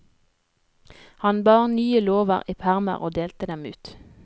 Han bar nye lover i permer og delte dem ut.